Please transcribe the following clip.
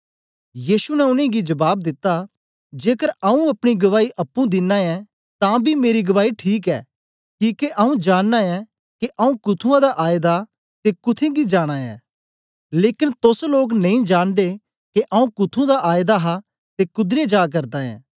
यीशु ने उनेंगी जबाब दिता जेकर आऊँ अपनी गवाई अप्पुं दिनां ऐं तां बी मेरी गवाई ठीक ऐ किके आऊँ जानना ऐं के आऊँ कुथुंआं दा आएदा ऐं ते कुत्थें गी जाना ऐं लेकन तोस लोक नेई जांनदे के आऊँ कुथुं दा आएदा हा ते कुदरे जा करदा ऐ